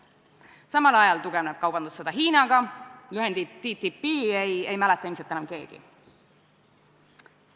Samal ajal tugevneb kaubandussõda Hiinaga, lühendit TTIP ei mäleta ilmselt enam keegi.